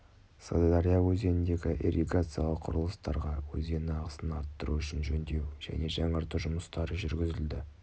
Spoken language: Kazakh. сырдария өзеніндегі ирригациялық құрылыстарға өзен ағысын арттыру үшін жөндеу және жаңарту жұмыстары жүргізілді